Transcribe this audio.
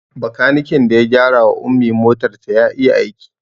Bakanikin da ya gyara wa Ummi motar ta ya iya aiki